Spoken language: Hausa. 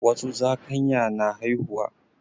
Wasu zakanya na haihuwa.